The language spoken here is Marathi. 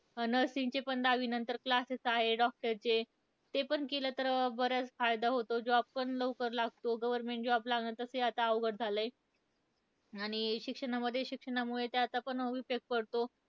Nursing चे पण दहावीनंतर classes आहेत. doctor चे, ते पण केलं तर बराच फायदा होतो. Job पण लवकर लागतो. Government job लागणं तसंही आता अवघड झालंय. आणि शिक्षणामध्ये शिक्षणामुळे त्याचा पण उपयोग करतो.